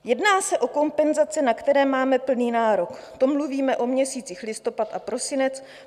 Jedná se o kompenzace, na které máme plný nárok, to mluvíme o měsících listopad a prosinec.